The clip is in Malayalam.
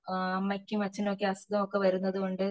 ആഹ് അമ്മക്കും അച്ഛനും ഒക്കെ അസുഗം ഒക്കെ വരുന്നോണ്ട്